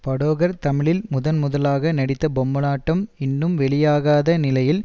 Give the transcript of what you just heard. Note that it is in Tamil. படோகர் தமிழில் முதன் முதலாக நடித்த பொம்மலாட்டம் இன்னும் வெளியாகாத நிலையில்